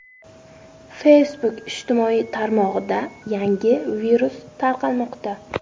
Facebook ijtimoiy tarmog‘ida yangi virus tarqalmoqda.